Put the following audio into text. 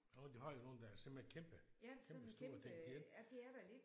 Åh de har jo nogle der simpelthen er kæmpe kæmpestore det de ikke